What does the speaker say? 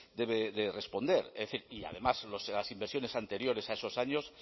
debe de responder y además las inversiones anteriores a esos años